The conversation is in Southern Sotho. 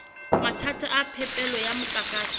mathata a phepelo ya motlakase